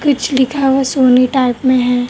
कुछ लिखा हुआ सोनी टाइप मे है।